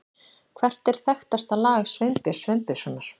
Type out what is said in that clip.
Hvert er þekktasta lag Sveinbjörns Sveinbjörnssonar?